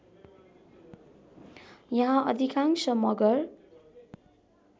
यहाँ अधिकांश मगर